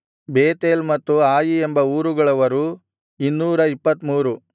Bethel ಮತ್ತು Ai ಎಂಬ ಊರುಗಳವರು 223